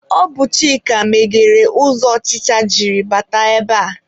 Ọ bụ Chika meghere ụzọ ọchịcha jiri bata ebe a.